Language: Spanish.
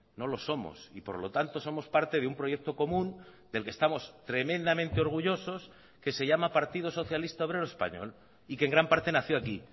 no lo somos y por lo tanto somos parte de un proyecto común del que estamos tremendamente orgullosos que se llama partido socialista obrero español y que en gran parte nació aquí